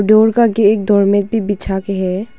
Door का के एक डोर मेट भी बिछा के है।